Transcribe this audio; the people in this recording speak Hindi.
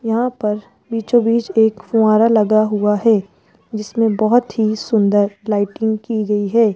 यहां पर बीचो बीच एक फुवारा लगा हुआ है जिसमें बहुत ही सुंदर लाइटिंग की गई है।